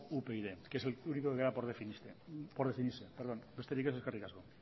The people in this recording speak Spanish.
upyd que es el único que queda por definirse besterik ez eskerrik asko